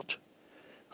Su yoxdur.